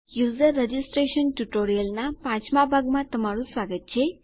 user registration ટ્યુટોરીયલનાં પાંચમાં ભાગમાં તમારું સ્વાગત છે